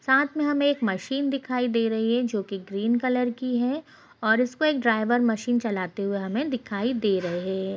यहाँ हमें एक बड़ी से बिल्डिंग दिखाई दे रही है जिसमें दो कलर हैं और एक बड़ा सा पोस्टर लगा हुआ है जिसका कलर ब्लैक है।